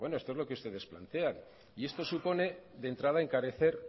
pero bueno esto es lo que ustedes plantean y esto supone de entrada encarecer